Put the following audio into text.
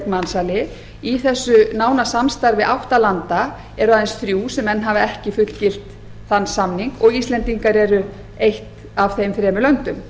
mansali í þessu nána samstarfi átta landa eru aðeins þrjú sem enn hafa ekki fullgilt þann samning og ísland er eitt af þeim þremur löndum